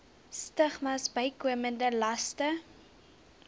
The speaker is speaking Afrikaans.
stigmas bykomende laste